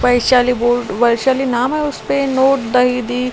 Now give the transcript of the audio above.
वैशाली वैशाली नाम है उसपे नोट दहीदी --